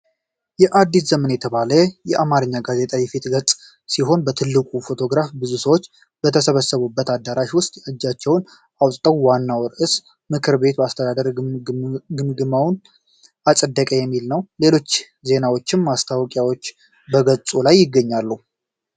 “አዲስ ዘመን” የተባለ የአማርኛ ጋዜጣ የፊት ገጽ ሲሆን ትልቁ ፎቶግራፍ ብዙ ሰዎች በተሰበሰቡበት አዳራሽ ውስጥ እጃቸውን አውጥተዋል። ዋናው ርዕስ "ምክር ቤቱ የአስተዳደር ግምገማውን አፀደቀ" የሚል ነው። ሌሎች ዜናዎችና ማስታወቂያዎችም በገጹ ላይ ይገኛሉ።